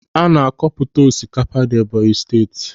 Ana akọ pụta osikapa na Ebọnyi Steeti.